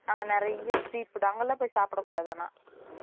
அங்க நெறைய street food அங்கலாம் போய் சாப்டகூடது ஆனா